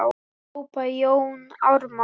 hrópaði Jón Ármann.